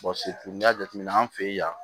n'i y'a jateminɛ an fɛ yan